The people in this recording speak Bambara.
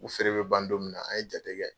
U feere bɛ ban don min na an ye jate kɛ.